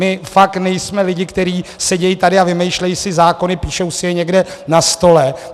My fakt nejsme lidi, kteří sedí tady a vymýšlí si zákony, píšou si je někde na stole.